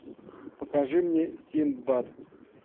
покажи мне синдбад